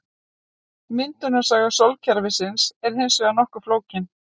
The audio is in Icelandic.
Myndunarsaga sólkerfisins er hins vegar nokkuð flókin.